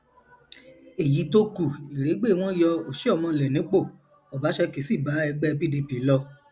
èyí tó kù ìrégbè wọn yọ ọsimọlé nípò ọbaṣẹkí sì bá ẹgbẹ pdp lọ